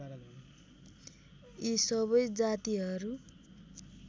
यी सबै जातिहरू